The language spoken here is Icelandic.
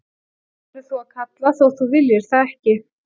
Og nú verður þú að kalla þótt þú viljir það ekki.